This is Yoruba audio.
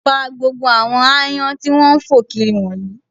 Pa gbogbo àwọn aáyán tí wọ́n ń fò kiri wọ̀nyìí